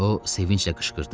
O sevinclə qışqırdı.